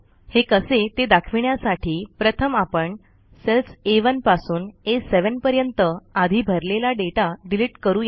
हे कसे ते दाखविण्यासाठी प्रथम आपण सेल्स आ 1 पासून आ 7 पर्यंत आधी भरलेला डेटा डिलीट करु या